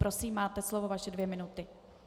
Prosím, máte slovo, vaše dvě minuty.